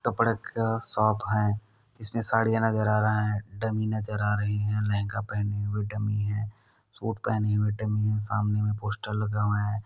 कपडे का शॉप है इसमें साड़िया नजर आ रहे है डमी नजर आ रही है लहंगा पहने हुए डमी है सुट पहनी हुई डमी है सामने में पोस्टर लगे हुए है।